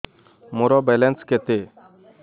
ମୋର ବାଲାନ୍ସ କେତେ